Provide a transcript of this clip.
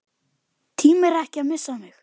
Tímir ekki að missa mig.